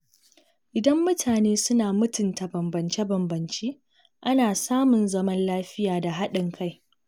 Idan mutane suna mutunta bambance-bambance, ana samun zaman lafiya da haɗin kai.